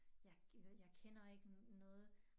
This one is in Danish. Jeg jeg kender ikke noget